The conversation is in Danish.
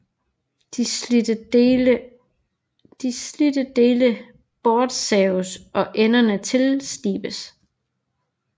De slidte dele bortsaves og enderne tilslibes